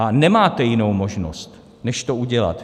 A nemáte jinou možnost, než to udělat.